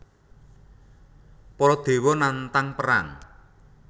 Para dewa nantang perang